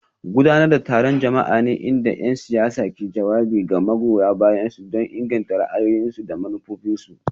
Gudanar da taron jama'a ne inda 'yan siyasa ke jawabi ga magoya bayansu don inganta ra'ayoyinsu da manufofinsu.